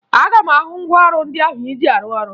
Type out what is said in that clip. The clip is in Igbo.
Aga m ahụ ngwaọrụ ndị ahụ ị ji arụ ọrụ